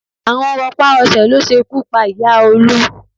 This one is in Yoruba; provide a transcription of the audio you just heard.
Àrùn rọpá-rọṣẹ̀ ló ṣekú pa ìyá Olú